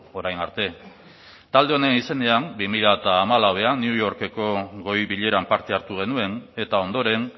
orain arte talde honen izenean bi mila hamalauan new yorkeko goi bileran parte hartu genuen eta ondoren